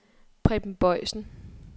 Preben Boysen